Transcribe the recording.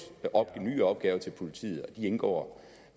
nye opgaver til politiet de indgår